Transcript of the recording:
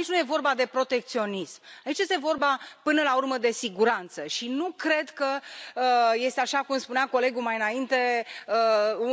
Aici nu este vorba de protecționism, este vorba, până la urmă, de siguranță și nu cred că este, așa cum spunea colegul mai înainte,